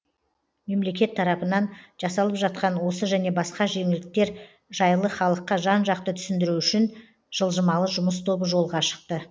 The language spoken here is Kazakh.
мемлекет тарапынан жасалып жатқан осы және басқа да жеңілдіктер жайлы халыққа жан жақты түсіндіру үшін жылжымалы жұмыс тобы жолға шықты